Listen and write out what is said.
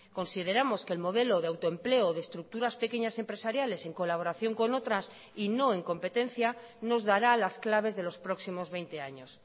consideramos que el modelo de autoempleo de estructuras pequeñas empresariales en colaboración con otras y no en competencia nos dará las claves de los próximos veinte años